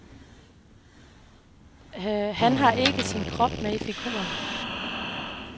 Han har ikke sin krop med i figuren.